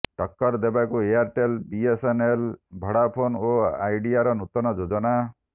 ଟକ୍କର ଦେବାକୁ Airtel BSNL Vodafone ଓ ଆଇଡିଆର ନୂତନ ଯୋଜନା